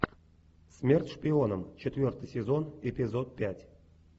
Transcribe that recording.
смерть шпионам четвертый сезон эпизод пять